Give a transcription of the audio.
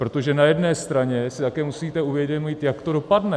Protože na jedné straně si také musíte uvědomit, jak to dopadne.